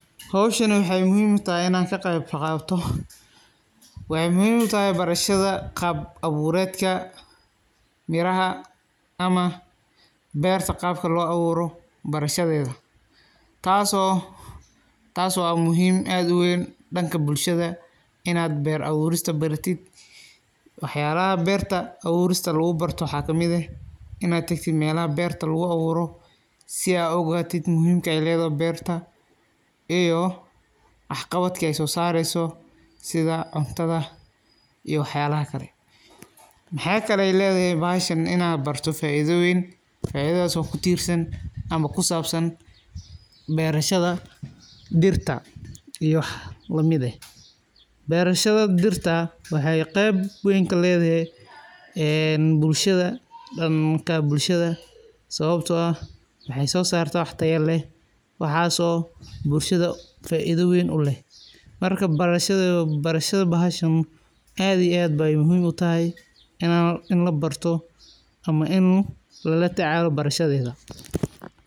Howshani waxe muhiim utahay inaan ka qeyb qaato waxey muhiim utahay barashada qaab abuureedka miraha ama beerta qaabka loo abuuro barashadeeda taaso taas waa muhiim aad aweyn dhanka bulshada inaad beer abuurista baratid waxa yalaha beerta abuurista lagu barto waxaa kamid eh inaad tagtid meelaha beerta lagu abuuro si aad u ogaatid muhiimka ey keedahay beerta iyo wax qabadka ay soo saareyso sida cuntada iyo waxa yalaha kale waxaa kale leedahay bahashan inaa barato faaidooyin faaidataaso kutiirsan ama kusaabsan beerashada dhirta iyo wax lamid eh beerashada dhirta waxee qeyb weyn kaleedahay een bulshada dhanka bulshada sababto eh waxee soo saarta wax tayo leh waxaaso bulshada faaido weyn uleh marka barashada bahashan aad iyo aad bey muhiim utahay in labarto ama in lalatacaalo barashadeeda.